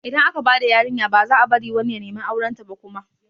Idan aka bada yarinya baza a bari wani ya nemi aurenta ba kuma